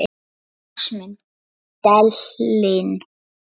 Bera glas mun delinn.